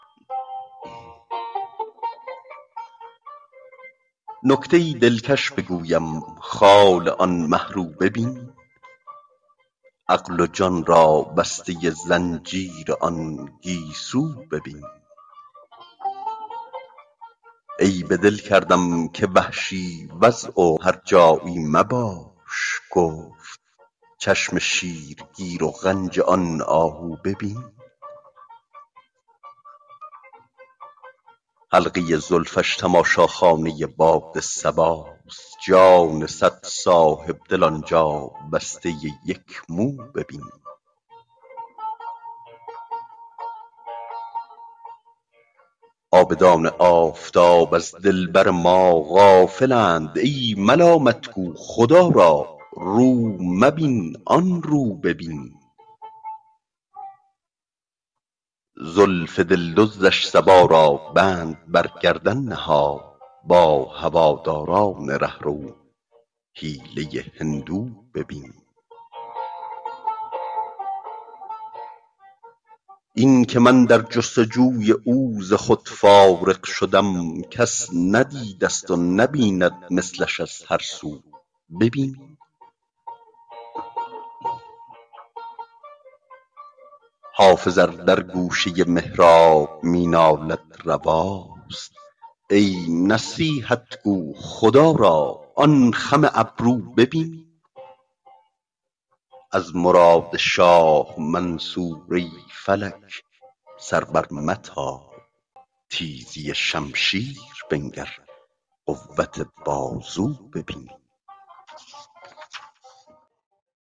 نکته ای دلکش بگویم خال آن مه رو ببین عقل و جان را بسته زنجیر آن گیسو ببین عیب دل کردم که وحشی وضع و هرجایی مباش گفت چشم شیرگیر و غنج آن آهو ببین حلقه زلفش تماشاخانه باد صباست جان صد صاحب دل آن جا بسته یک مو ببین عابدان آفتاب از دلبر ما غافل اند ای ملامت گو خدا را رو مبین آن رو ببین زلف دل دزدش صبا را بند بر گردن نهاد با هواداران ره رو حیله هندو ببین این که من در جست وجوی او ز خود فارغ شدم کس ندیده ست و نبیند مثلش از هر سو ببین حافظ ار در گوشه محراب می نالد رواست ای نصیحت گو خدا را آن خم ابرو ببین از مراد شاه منصور ای فلک سر برمتاب تیزی شمشیر بنگر قوت بازو ببین